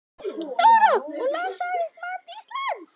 Þóra: Og lánshæfismat Íslands?